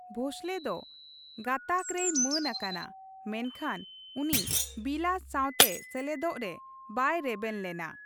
ᱵᱷᱳᱸᱥᱞᱮ ᱫᱚ ᱜᱟᱛᱟᱜ ᱨᱮᱭ ᱢᱟᱹᱱ ᱟᱠᱟᱱᱟ, ᱢᱮᱱᱠᱷᱟᱱ ᱩᱱᱤ ᱵᱤᱞᱟᱥ ᱥᱟᱶᱛᱮ ᱥᱮᱞᱮᱫᱚᱜ ᱨᱮ ᱵᱟᱭ ᱨᱮᱵᱮᱱ ᱞᱮᱱᱟ ᱾